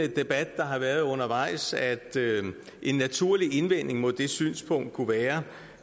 debat der har været undervejs at en naturlig indvending mod det synspunkt kunne være